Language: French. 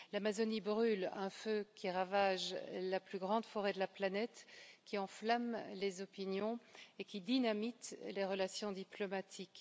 L'Amazonie brûle, un feu qui ravage la plus grande forêt de la planète, qui enflamme les opinions et qui dynamite les relations diplomatiques.